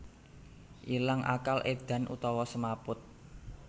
Ilang akal édan utawa semaput